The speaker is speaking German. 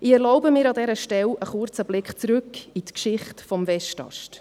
Ich erlaube mir an dieser Stelle einen kurzen Blick zurück in die Geschichte des Westasts: